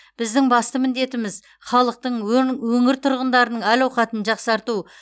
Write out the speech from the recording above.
біздің басты міндетіміз халықтың өн өңір тұрғындарының әл ауқатын жақсарту